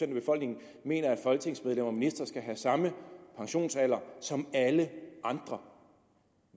befolkningen mener at folketingsmedlemmer og ministre skal have samme pensionsalder som alle andre